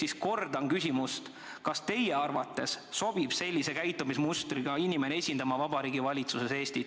Ehk kordan küsimust: kas teie arvates sobib sellise käitumismustriga inimene esindama Vabariigi Valitsuses Eestit?